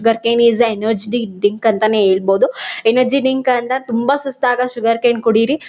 Sugar cane is energetic the drink ಅಂತಾನೇ ಹೇಳ್ಬಹುದು. Energy drink ಅಂದ್ರ ತುಂಬಾ ಸುಸ್ತಾದಾಗ ಶುಗರ್ ಕೇನ್ ಕುಡೀರಿ--